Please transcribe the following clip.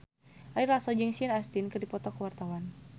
Ari Lasso jeung Sean Astin keur dipoto ku wartawan